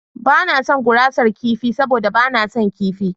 Ba na son gurasar kifi saboda ba na son kifi.